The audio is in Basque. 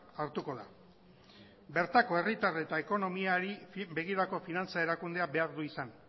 hartuko da bertako herritar eta ekonomiari begirako finantza erakundea behar du izan